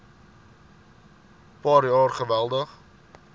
paar jaar geweldig